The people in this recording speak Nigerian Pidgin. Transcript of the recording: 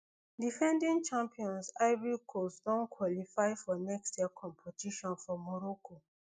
defending champions ivory coast don qualify for next year competition for morocco